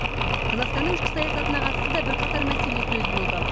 қазақстанның ішкі саясатына қатысты да бірқатар мәселе сөз болды